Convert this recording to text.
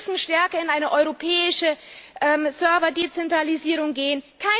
Wir müssen stärker in eine europäische Server Dezentralisierung gehen.